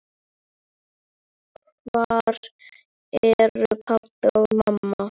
Hvar eru pabbi og mamma?